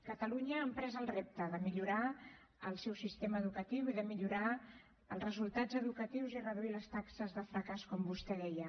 catalunya ha emprès el repte de millorar el seu sistema educatiu i de millorar els resultats educatius i reduir les taxes de fracàs com vostè deia